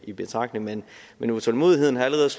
i betragtning men utålmodigheden har allerede